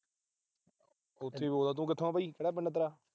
ਉੱਥੋਂ ਈ ਬੋਲਦਾ। ਤੂੰ ਕਿੱਥੋਂ ਬੋਲਦਾ। ਕਿਹੜਾ ਪਿੰਡ ਆ ਵੀ।